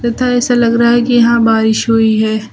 तथा ऐसा लग रहा है कि यहां बारिश हुई है।